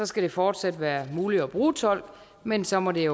skal det fortsat være muligt at bruge tolk men så må det